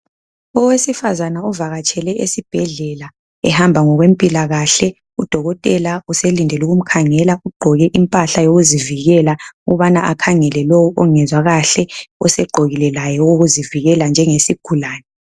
Owesifazana uvakatshele esibhedlela ehamba ngokwempilakahle udokotela uselindele ukumkhangeka ugqoke impahla yokuzivikela ukubana akhangele lo ongezwa kahle osegqokile laye okokuzivikela njenge sigulane.